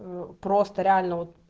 ну просто реально вот